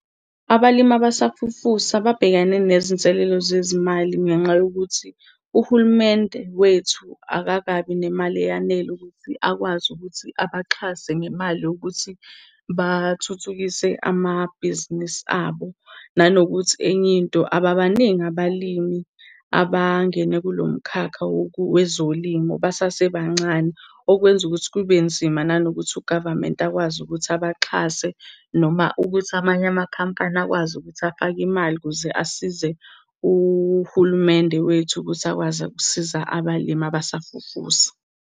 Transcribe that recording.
Abalimi abasafufusa babhekane nezinselelo zezimali ngenxa yokuthi uhulumende wethu akakabi nemali eyanele ukuthi akwazi ukuthi abaxhase ngemali yokuthi bathuthukise amabhizinisi abo. Nanokuthi, enye into ababaningi abalimi abangene kulo mkhakha wezolimo, besasebancane. Okwenza ukuthi kube nzima nanokuthi u-government akwazi ukuthi abaxhase, noma ukuthi amanye amakhampani akwazi ukuthi afake imali ukuze asize uhulumende wethu ukuthi akwazi ukusiza abalimi abasafufusa.